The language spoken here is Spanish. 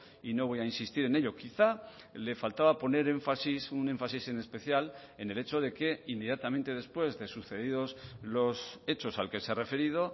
y no voy a insistir en ello quizá le faltaba poner énfasis un énfasis en especial en el hecho de que inmediatamente después de sucedidos los hechos al que se ha referido